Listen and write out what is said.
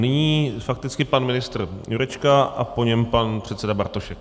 Nyní fakticky pan ministr Jurečka a po něm pan předseda Bartošek.